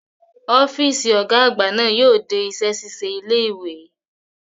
Ọ́fíìsì Ọ̀gá àgbà náà yóò dé iṣẹ́ ṣíṣe ilé ìwé